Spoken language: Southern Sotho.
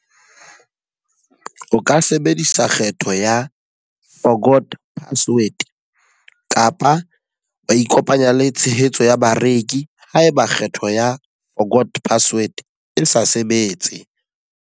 O ka sebedisa kgetho ya forgot password. Kapa wa ikopanya le tshehetso ya bareki ha e ba kgetho ya forgot password e sa sebetse.